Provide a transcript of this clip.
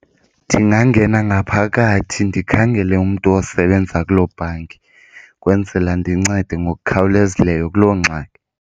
Ndingangena ngaphakathi ndikhangele umntu osebenza kuloo bhanki ukwenzela ndincede ngokukhawulezileyo kuloo ngxaki.